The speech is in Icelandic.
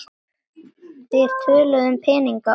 Þeir töluðu um peninga og